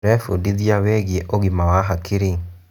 Tũrebundithia wĩgiĩ ũgima wa hakiri.